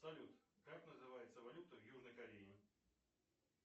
салют как называется валюта в южной корее